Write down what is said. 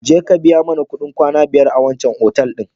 Jeka ka biya mana kuɗin kwana biyar a wancan otal ɗin.